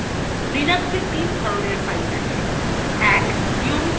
linux তিন ধরনের files আছে :